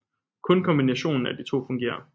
Kun kombinationen af de to fungerer